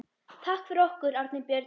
Takk fyrir okkur, Árni Björn!